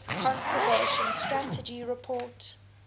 conservation strategy report